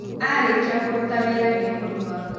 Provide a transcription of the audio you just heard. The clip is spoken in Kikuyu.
Arĩkia kũruta wĩra, nĩ ekũnyua.